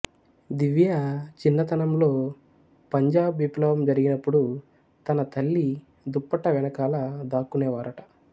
దివ్యా చిన్నతనంలో పంజాబ్ విప్లవం జరిగినప్పుడు తన తల్లి దుపట్టా వెనకాల దాక్కునేవారట